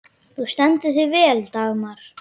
Þú stendur þig vel, Dagmar!